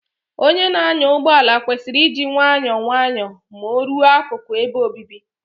Onye na-anya ụgbọ ala kwesịrị iji nwayọọ nwayọọ Ma o ruo akụku ebe obibi